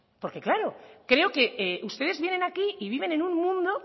porque claro creo que ustedes vienen aquí y viven en un mundo